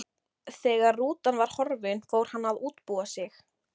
Þegar rútan var horfin fór hann að útbúa sig.